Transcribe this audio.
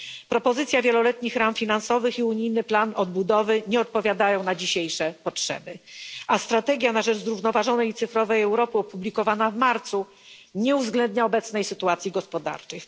Propozycja wieloletnich ram finansowych i unijny plan odbudowy nie odpowiadają dzisiejszym potrzebom, a Strategia na rzecz zrównoważonej i cyfrowej Europy opublikowana w marcu nie uwzględnia obecnej sytuacji gospodarczej.